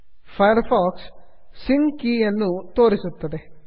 fire fox sync ಕೆ sync key ಯನ್ನು ತೋರಿಸುತ್ತದೆ